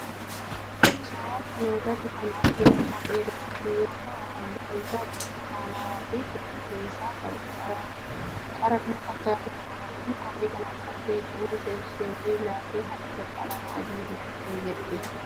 Suuraa kana irratti kan arginu kophee dubartii yoo ta'u halluun isaa burtukaanawaa fi fuldurri isaa qara kan fakkaatudha. Dubartiin kophee kana uffatte qeensa ishee miilaa fi harkaa qalama adii dibattee jirti.